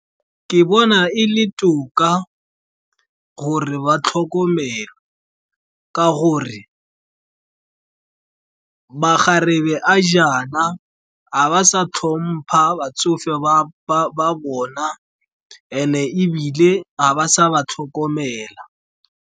Ke bona e le toka gore ba tlhokomelwe, ka gore makgarebe a jaana ga ba sa tlhompha batsofe ba bona and-e ebile ga ba sa ba tlhokomela.